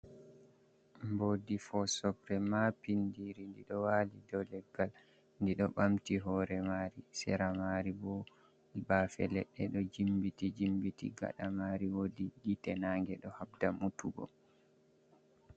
Mboodi fosokre, mabindiri. Ndi ɗo wali dou leggal. Ndi ɗo ɓamti hoore mari, sera maari bo, bafe leɗɗe ɗo jimmiti-jimmiti. Gaɗa mari woodi gite nange, ɗo habda mutugo.